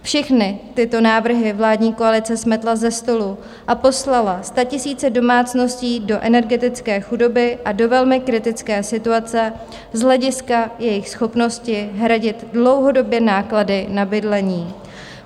Všechny tyto návrhy vládní koalice smetla ze stolu a poslala statisíce domácností do energetické chudoby a do velmi kritické situace z hlediska jejich schopnosti hradit dlouhodobě náklady na bydlení.